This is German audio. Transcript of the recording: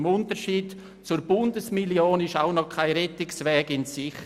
Im Unterschied zur Bundesmillion ist auch noch kein Rettungsweg in Sicht.